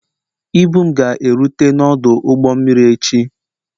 Ibu m ga-erute n'ọdụ ụgbọ mmiri echi